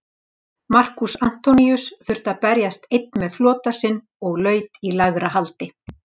Markús Antoníus þurfti að berjast einn með flota sinn og laut í lægra haldi.